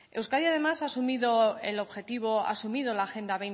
euskadi además ha asumido el objetivo ha asumido la agenda